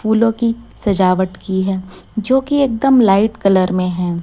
फूलों की सजावट की हैं जो कि एकदम लाइट कलर में है।